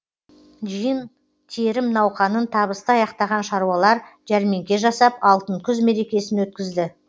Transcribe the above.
жиын терім науқанын табысты аяқтаған шаруалар жәрмеңке жасап алтын күз мерекесін өткізді